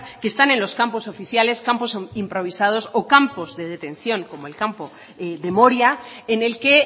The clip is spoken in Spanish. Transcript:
que están en los campos oficiales campos improvisados o campos de detención como el campo de moria en el que